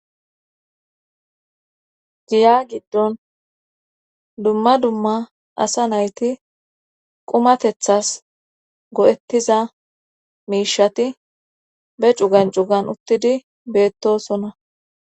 Giya giddon dumma dumma asa nayti qumatethas go'ettiza miishati be cugan cugan uttidi beettosona.